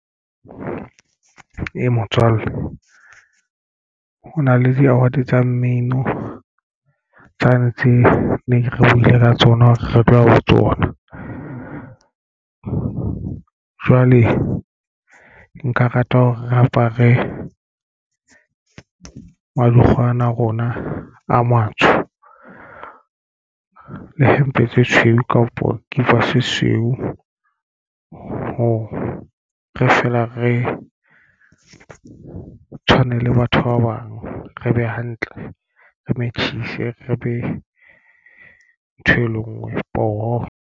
Ee, motswalle ho na le di-award tsa mmino tsane tse neng re buile ka tsona re tloha ho tsona. Jwale nka rata hore re apare madukgwe ana a rona a matsho le hempe tse tshweu kapa dikipa tse tshweu hore feela re tshwane le batho ba bang re be hantle re machisi re be ntho e le ngwe poho.